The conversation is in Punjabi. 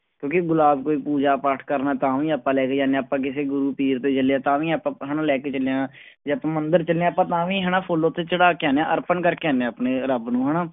ਕਿਉਂਕਿ ਗੁਲਾਬ ਕੋਈ ਪੂਜਾ ਪਾਠ ਕਰਨਾ ਤਾਂ ਵੀ ਆਪਾਂ ਲੈ ਕੇ ਜਾਂਦੇ ਹਾਂ, ਆਪਾਂ ਕਿਸੇ ਗੁਰੂ ਪੀਰ ਦੇ ਜਾਂਦੇ ਹਾਂ ਤਾਂ ਵੀ ਆਪਾਂ ਹਨਾ ਲੈ ਕੇ ਜਾਂਦੇ ਹਾਂ ਜਾਂ ਆਪਾਂ ਮੰਦਰ ਜਾਂਦੇ ਹਾਂ ਆਪਾਂ ਤਾਂ ਵੀ ਹਨਾ ਫੁੱਲ ਉੱਥੇ ਚੜਾ ਕੇ ਆਉਂਦੇ ਹਾਂ ਅਰਪਣ ਕਰਕੇ ਆਉਂਦੇ ਹਾਂ ਆਪਣੇ ਰੱਬ ਨੂੰ ਹਨਾ।